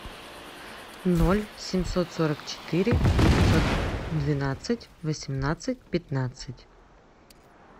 ноль семьсот сорок четыре девятьсот двенадцать восемнадцать пятнадцать